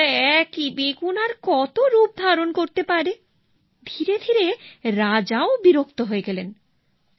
বেচারা একই বেগুন আর কত রূপ ধারণ করতে পারে ধীরে ধীরে রাজাও বিরক্ত হয়ে গেলেন